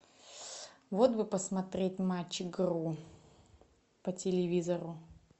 вот бы посмотреть матч игру по телевизору